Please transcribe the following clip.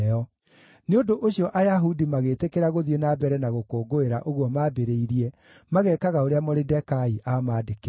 Nĩ ũndũ ũcio Ayahudi magĩtĩkĩra gũthiĩ na mbere na gũkũngũĩra ũguo maambĩrĩirie, magekaga ũrĩa Moridekai aamandĩkĩire.